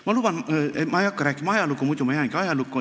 Ma luban, et ma ei hakka rääkima ajalugu, muidu ma jäängi ajalukku.